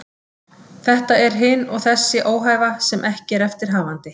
Þetta er hin og þessi óhæfa sem ekki er eftir hafandi.